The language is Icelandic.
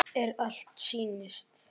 Er allt sem sýnist?